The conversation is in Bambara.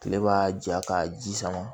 Kile b'a ja ka ji sama